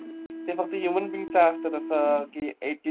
ते फक्त human being असतं तसं की